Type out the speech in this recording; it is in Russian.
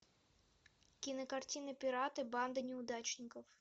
кинокартина пираты банда неудачников